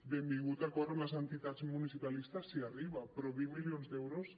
benvingut l’acord amb les entitats municipalistes si arriba però vint milions d’euros